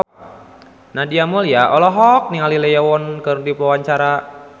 Nadia Mulya olohok ningali Lee Yo Won keur diwawancara